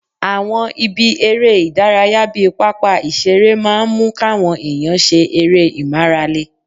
Àwọn ibi eré ìdárayá bíi pápá ìṣeré máa ń mú káwọn èèyàn ṣe eré ìmárale